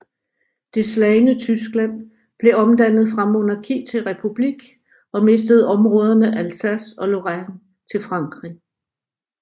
Det slagne Tyskland blev omdannet fra monarki til republik og mistede områderne Alsace og Lorraine til Frankrig